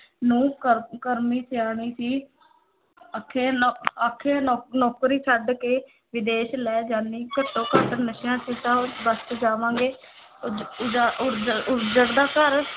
ਨੂੰਹ ਕਰ ਕਰਮੀ ਸਿਆਣੀ ਸੀ ਆਖੇ ਨ ਆਖੇ ਨੌ ਨੌਕਰੀ ਛੱਡ ਕੇ ਵਿਦੇਸ ਲੈ ਜਾਨੀ ਘੱਟੋ ਘੱਟ ਨਸ਼ਿਆਂ ਤੋਂ ਤਾਂ ਬੱਚ ਜਾਵਾਂਗੇ ਉੱਜੜਦਾ ਘਰ